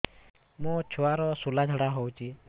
ମୋ ଛୁଆର ସୁଳା ଝାଡ଼ା ହଉଚି